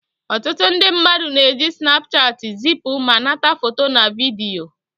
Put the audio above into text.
Ọtụtụ ndị mmadụ na-eji snapchat zipu ma nata foto na vidiyo